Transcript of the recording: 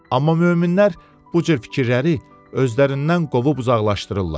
Amma möminlər bu cür fikirləri özlərindən qovub uzaqlaşdırırlar.